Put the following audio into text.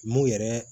Mun yɛrɛ